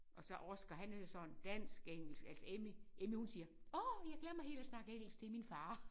Og så Oscar han er jo sådan dansk engelsk altså Emmy Emmy hun siger åh jeg glemmer helt at snakke engelsk til min far